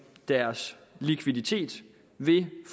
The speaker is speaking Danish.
deres likviditet ved